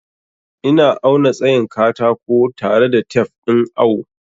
Ina auna tsayin katako tare da tef ɗin awo.